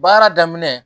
Baara daminɛ